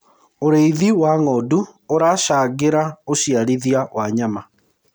ũrĩithi wa ng'ondu uracangira uciarithia wa nyama